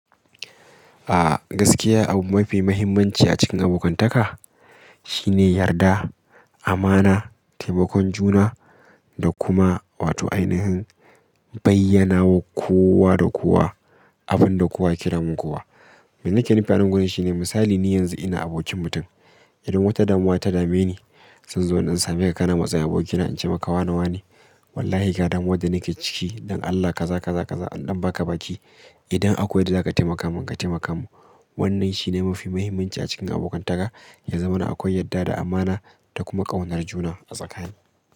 A gaskiya, abu mafi muhimmanci a cikin abokantaka shine yarda, amana, taimakon juna da kuma wato ainihin bayyanawa kowa da kowa. Abin da kowa ke damun kowa. Me nake nufi anan gurin shi ne misali ni yanzu ina abokin mutum idan wata damuwa ta dame ni, sai in zo in ɗan same ka kana matsayi aboki na in ce maka wane wane? Wallahi ga damuwan da nake ciki don Allah ka za ka za ka za in ɗan baka baki. Idan akwai yadda daka taimaka mun ka taimaka mun. Wannan shi ne mafi muhimmanci a cikin abokantaka ya zamana akwai yadda da amana da kuma ƙaunar juna a tsakani.